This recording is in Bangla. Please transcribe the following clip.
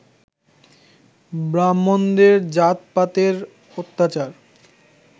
ব্রাহ্মণদের জাতপাতের অত্যাচার